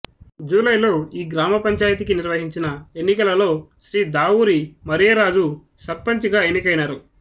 జూలైలో ఈ గ్రామ పంచాయతీకి నిర్వహించిన ఎన్నికలలో శ్రీ దావూరి మరియరాజు సర్పంచిగా ఎన్నికైనారు